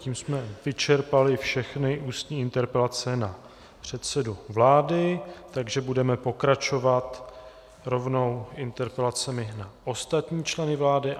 Tím jsme vyčerpali všechny ústní interpelace na předsedu vlády, takže budeme pokračovat rovnou interpelacemi na ostatní členy vlády.